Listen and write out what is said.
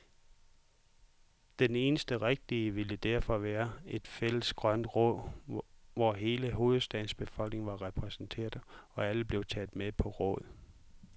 Det eneste rigtige ville derfor være et fælles grønt råd, hvor hele hovedstadens befolkning var repræsenteret, og alle blev taget med på råd.